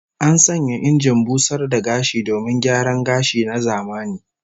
An sanya injin busar da gashi domin gyaran gashi na zamani